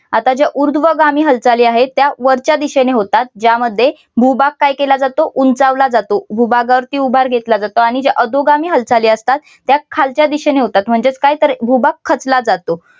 आता ज्या उध्वगामी हालचाली आहेत त्या वरच्या दिशेने होतात ज्यामध्ये भूभाग काय केला जातो उंचावला जातो. भूभागावरती उभार घेतला जातो. आणि ज्या अधोगामी हालचालीअसतात त्या खालच्या दिशेने होतात म्हणजेच काय तर भूभाग खचला जातो.